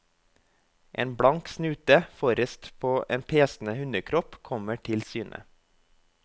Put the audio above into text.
En blank snute forrest på en pesende hundekropp kommer til syne.